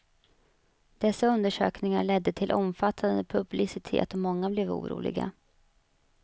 Dessa undersökningar ledde till omfattande publicitet och många blev oroliga.